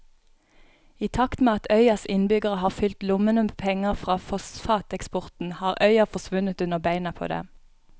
I takt med at øyas innbyggere har fylt lommene med penger fra fosfateksporten har øya forsvunnet under beina på dem.